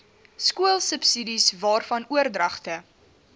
skoolsubsidies waarvan oordragte